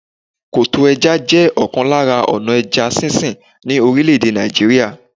Koto ẹja jẹ́ ọ̀kan lára ọ̀nà ẹja sísìn ni orílè-èdè Nàìjíríà.